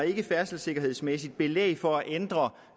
færdselssikkerhedsmæssigt belæg for at ændre